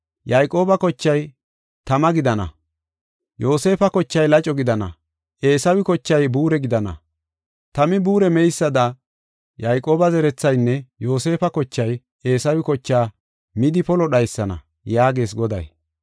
Yayqooba kochay tama gidana; Yoosefa kochay laco gidana; Eesawe kochay buure gidana. Tami buure meysada, Yayqooba zerethaynne Yoosefa kochay Eesawe kochaa midi polo dhaysana” yaagees Goday.